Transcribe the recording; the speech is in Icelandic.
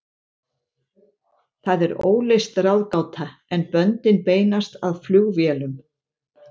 Það er óleyst ráðgáta, en böndin beinast að flugvélum.